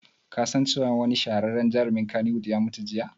Ka san cewa wani shahararren jarumin kannywood ya mutu jiya?